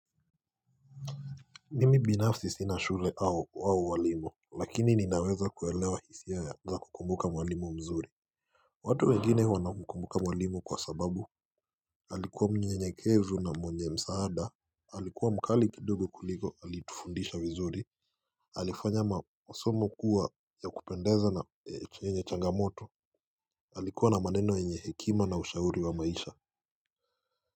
Mimi binafsi sina shule au walimu lakini ninaweza kuelewa hisiaa za kukumbuka mwalimu mzuri watu wengine wana kukumbuka mwalimu kwa sababu alikuwa mnyenyekevu na mwenye msaada alikuwa mkali kidogo kuliko alitufundisha vizuri alifanya masomo kuwa ya kupendeza na yenye changamoto alikuwa na maneno yenye hekima na ushauri wa maisha.